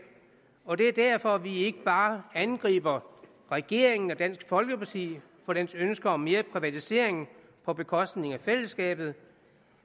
og det er derfor vi ikke bare angriber regeringen og dansk folkeparti for deres ønske om mere privatisering på bekostning af fællesskabet